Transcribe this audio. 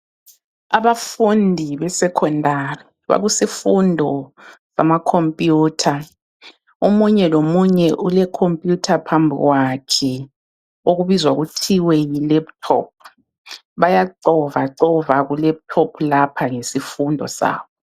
Abafundi besekhondari bakusifundo samakhompuyutha. Omunye lomunye ulekhompuyutha phambi kwakhe okubizwa kuthiwe yilephuthophu. Bayacovacova kulephuthophu lapha ngesifundo sabo.